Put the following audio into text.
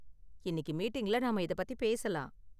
இன்னிக்கு மீட்டிங்ல நாம இதைப் பத்தி பேசலாம்.